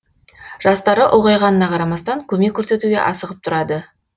жастары ұлғайғанына қарамастан көмек көрсетуге асығып тұрады